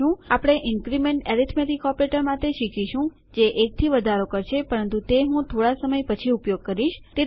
આપણે increment arithmetic operator માટે શીખીશું જે ૧થી વધારો કરશે પરંતુ તે હું થોડા સમય પછી ઉપયોગ કરીશ